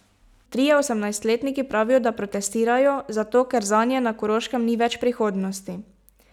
Trije osemnajstletniki pravijo, da protestirajo zato, ker zanje na Koroškem ni več prihodnosti.